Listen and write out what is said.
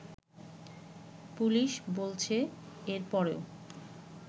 police বলছে এর পরও